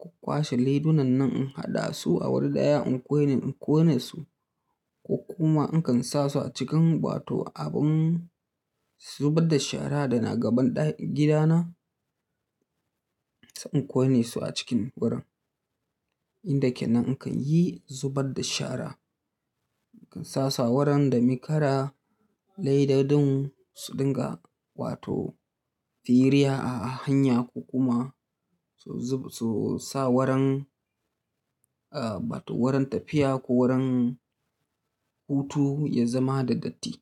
ku kwashe leidunan nan in haɗa su a wani ɗaya in ƙone, in ƙone su. Ko kuma in kan sa su a cikin wato abun zubar da shara da na gaban ɗa, gida na, sa in ƙone su a cikin wurin. Inda ke nan in kan yi zubar da shara. In kan sa su a wurin da mi kara. Leidodin su dinga wato firiya a hanya ko kuma su zub, su sa wuran, ah, wato wurin tafiya ko wurin hutu ya zama da datti.